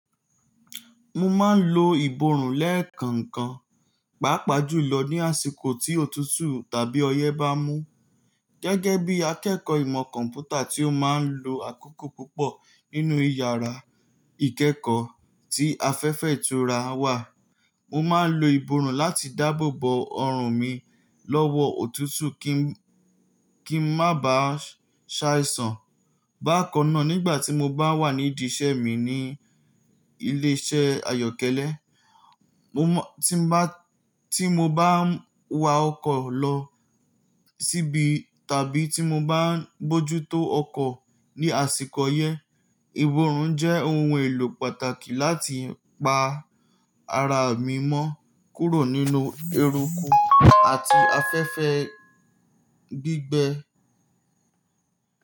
Mo máa ń lo ìbòrùn lẹ́ẹ̀kan kan, pàápàá jùlọ ní àsìkò tí òtútù tàbí ọyẹ́ bá mú. Gẹ́gẹ́ bí akẹ́kọ̀ọ́ ìmọ̀ kọ̀m̀pútà tí ó máa ń lo àkókò púpọ̀ nínú ìyàrá ìkẹ́kọ̀ọ́ tí afẹ́fẹ́ ìtura wà, mo máa ń lo ìbòrùn láti dáàbò bo ọrùn mi lọ́wọ́ òtútù kí, kí ń má ba à ṣaisan. Bákan náà, nígbà tí mo bá wà nídi iṣẹ́ mi ní ilé-iṣẹ́ ayọ́kẹ́lẹ́, mo mọ tí n bá, tí mo bá ń wa ọkọ̀ lọ tíbí tàbí tí mo bá ń bójútó ọkọ̀ ní àsìkò ọyẹ́, ìbòrùn jẹ́ ohun èlò pàtàkì láti pa ara mi mọ́ kúrò nínú eruku àti afẹ́fẹ́ gbígbẹ.